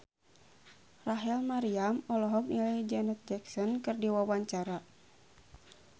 Rachel Maryam olohok ningali Janet Jackson keur diwawancara